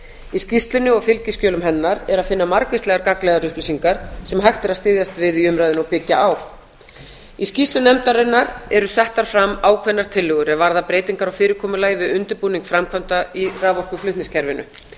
í skýrslunni og fylgiskjölum hennar er að finna margvíslegar gagnlegar upplýsingar sem hægt er að styðjast við í umræðunni og byggja á í skýrslu nefndarinnar eru settar fram ákveðnar tillögur er varða breytingar á fyrirkomulagi við undirbúning framkvæmda í raforkuflutningskerfinu hvað